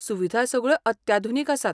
सुविधा सगळ्यो अत्याधुनीक आसात.